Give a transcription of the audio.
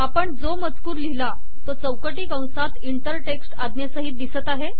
आपण जो मजकूर लिहिला तो चौकटी कंसात इंटर टेक्स्ट आज्ञेसहित दिसत आहे